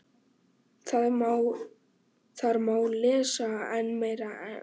Þar má lesa enn meira um efnið.